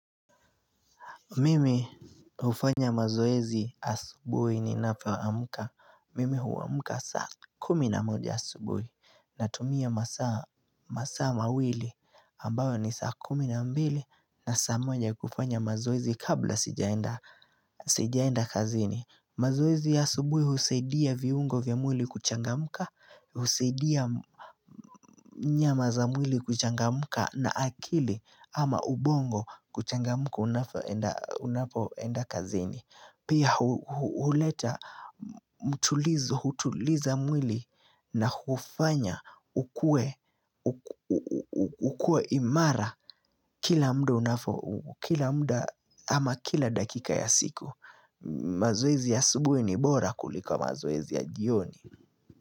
Mimi ufanya mazoezi asubuhi ninapo amka. Mimi uamka saa kumi na moja asubuhi Natumia masaa mawili ambayo ni saa kumi na mbili. Na saa moja kufanya mazoezi kabla sijaenda kazini. Mazoezi asubuhi husedia viungo vya mwili kuchangamka. Husaidia nyama za mwili kuchangamka. Na akili ama ubongo kuchangamka unapoenda kazini. Pia huleta mtulizo, hutuliza mwili na hufanya ukuwe ukue imara kila mda unavo, kila mda ama kila dakika ya siku. Mazoezi ya asubuhi ni bora kuliko mazoezi ya jioni.